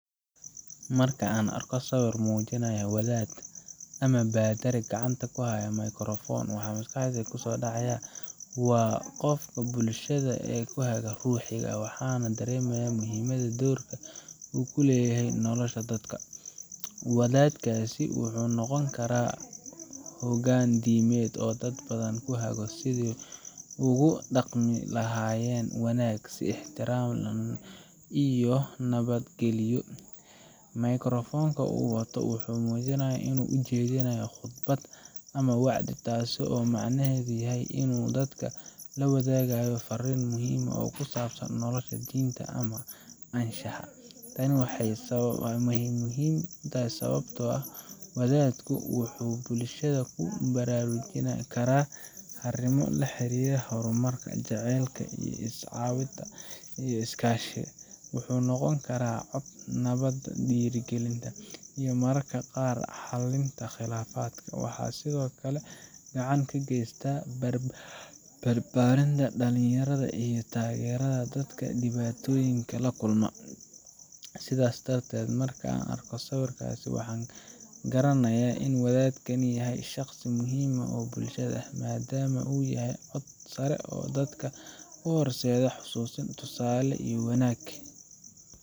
Markaan arko sawir muujinaya wadaad ama baadari gacanta ku haya mikrafoon, waxaa maskaxdayda ku soo dhacaya qofka bulshada u ah hage ruuxi ah, waxaana dareemayaa muhiimadda doorka uu ku leeyahay nolosha dadka. Wadaadkaasi wuxuu noqon karaa hoggaan diimeed oo dad badan ku hago sidii ay ugu dhaqmi lahaayeen wanaag, is-ixtiraam, iyo nabadgelyo. Mikrafoonka uu wato wuxuu muujinayaa in uu jeedinayo khudbad ama wacdi, taasoo macnaheedu yahay in uu dadka la wadaagayo fariin muhiim ah oo ku saabsan nolosha, diinta, ama anshaxa. Tani waa muhiim sababtoo ah wadaadku wuxuu bulshada ku baraarujin karaa arrimo la xiriira horumarka, jacaylka, is-caawinta, iyo iskaashiga. Wuxuu noqon karaa codka nabadda, dhiirrigelinta, iyo mararka qaar xallinta khilaafaadka. Waxa uu sidoo kale gacan ka geystaa barbaarinta dhalinyarada iyo taageerada dadka dhibaatooyinka la kulma. Sidaas darteed, markaan arko sawirkaas, waxaan garanayaa in wadaadkani yahay shaqsi muhiim u ah bulshada, maadaama uu yahay cod sare oo dadka u horseeda xasuusin, tusaale, iyo wanaag.